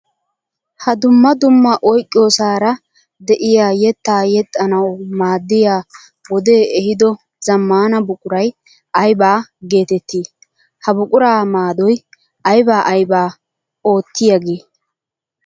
Ha dumma dumma oyqqiyosara de'iya yetta yexxanawu maaddiya wode ehiido zamaana buquray aybba geetetti? Ha buqura maadoy aybba aybba oottiyaage?